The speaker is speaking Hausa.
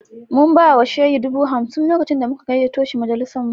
Mun ba wa Shehi dubu hamsin lokacin da muka gayyato shi majalisinmu